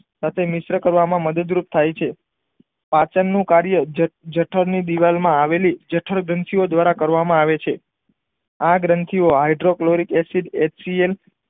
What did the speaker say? સાથે મિશ્ર કરવામાં મદદ રૂપ થાય છે પાચન નું કાર્ય જત જઠર ની દીવાલ માં આવેલી જઠરગ્રંથી ઓ દ્વારા કરવામાં આવે છે આ ગ્રંથિ ઓ હાઈડ્રોકેલરીક એસિડ એસિડ માં